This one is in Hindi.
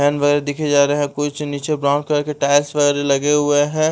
व दिखे जा रहे हैं कुछ नीचे ब्राउन कलर के टाइल्स वगैरह लगे हुए हैं।